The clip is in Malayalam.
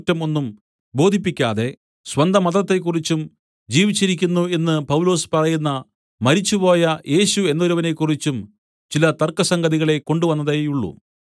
ഒന്നും ബോധിപ്പിക്കാതെ സ്വന്തമതത്തെക്കുറിച്ചും ജീവിച്ചിരിക്കുന്നു എന്ന് പൗലൊസ് പറയുന്ന മരിച്ചുപോയ യേശു എന്നൊരുവനെക്കുറിച്ചും ചില തർക്കസംഗതികളെ കൊണ്ടുവന്നതേയുള്ളു